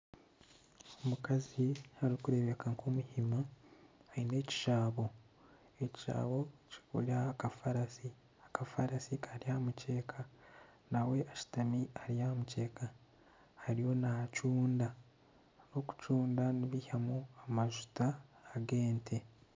Omukazi arikureebeka nk'omuhima aine ekishaabo ,ekishaabo kiri aha kafarasi ,akafarasi Kari aha mukyeeka ,nawe ashutami ari aha mukyeeka ,arimu nacunda ,abarikucunda nibeihamu amajuta g'ente.